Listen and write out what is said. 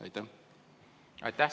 Aitäh!